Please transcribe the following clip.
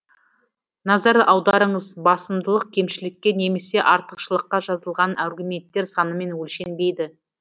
назар аударыңыз басымдылық кемшілікке немесе артықшылыққа жазылған аргументтер санымен өлшенбейді